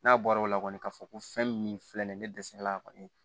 N'a bɔra o la kɔni k'a fɔ ko fɛn min filɛ nin ye ne dɛsɛra a kɔni